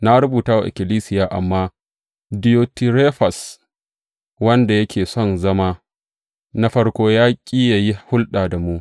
Na rubuta wa ikkilisiya, amma Diyotirefes, wanda yake son zama na farko, ya ƙi yă yi hulɗa da mu.